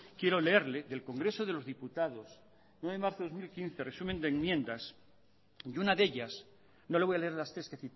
quiero leerle el congreso de los diputados nueve de marzo de dos mil quince resumen de enmiendas y una de ellas no le voy a leer las tres que